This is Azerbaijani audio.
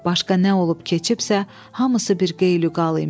Başqa nə olub keçibsə, hamısı bir qeylüqal imiş.